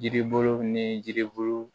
Yiribulu ni yiribulu